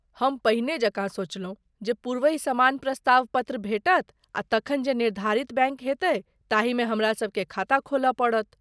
हम पहिने जकाँ सोचलौं जे पूर्वहि समान प्रस्ताव पत्र भेटत आ तखन जे निर्धारित बैङ्क हेतै ताहिमे हमरासबकेँ खाता खोलय पड़त।